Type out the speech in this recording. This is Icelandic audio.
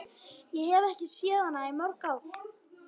Ég hef ekki séð hana í mörg ár.